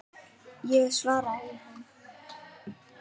Ég svara í ann